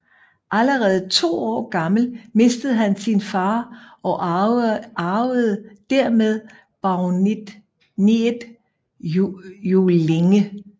Allerede to år gammel mistede han sin far og arvede dermed baroniet Juellinge